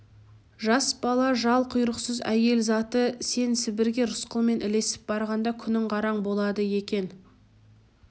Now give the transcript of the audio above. жас бала жал-құйрықсыз әйел заты сен сібірге рысқұлмен ілесіп барғанда күнің қараң болады екен